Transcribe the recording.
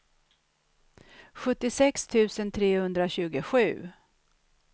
sjuttiosex tusen trehundratjugosju